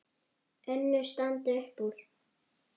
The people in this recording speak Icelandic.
Önnur standa upp úr.